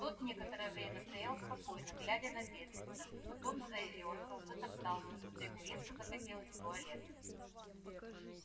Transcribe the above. тот некоторое время стоял спокойно глядя на бедренца потом заёрзал затоптался будто ему резко захотелось в туалет